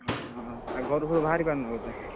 ଓଃ ଆଉ ଘରୁ ସବୁ ବାହାରି ପାରୁନ ବୋଧେ,